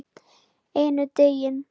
Einn daginn?